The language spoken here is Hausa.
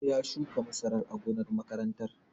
Ya shuka masara a gonar makarantar